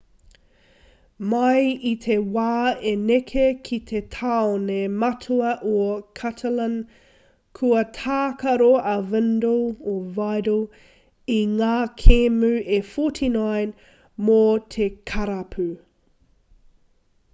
mai i te wā i neke ki te tāone matua o catalan kua tākaro a vidal i ngā kēmu e 49 mō te karapu